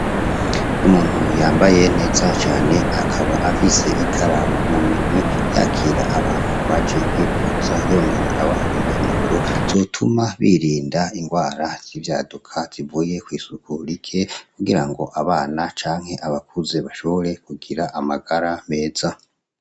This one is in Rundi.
Umuntu yambaye neza cane akaba afise ikaramu muminwe yakira abantu baje kwivuza yongerara abaha impanuro zotuma birinda ingwara zivyaduka zivuye kw'isuku rike kugirango abana canke abakuze bashobore kugira amagara meza.